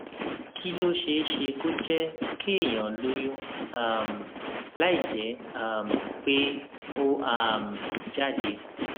kí ló ṣeé ṣe kó jé kéèyàn lóyún um láìjé um pé ó um jáde